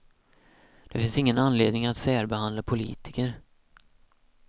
Det finns ingen anledning att särbehandla politiker.